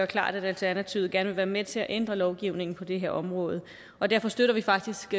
klart at alternativet gerne vil være med til at ændre lovgivningen på det her område og derfor støtter vi faktisk det